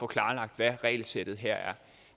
klarlagt hvad regelsættet her er